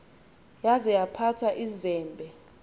yaza yaphatha izembe